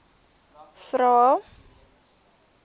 vvvvrae